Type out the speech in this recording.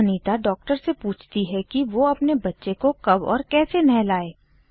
फिर अनीता डॉक्टर से पूछती है कि वो अपने बच्चे को कब और कैसे नहलाए